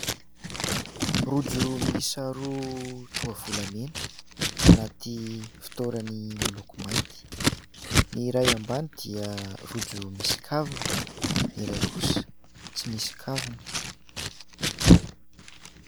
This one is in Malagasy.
Rojo miisa roa toa volamena anaty fitoerany miloko mainty. Ny iray ambany dia rojo misy kavina, ny iray kosa tsy misy kavina.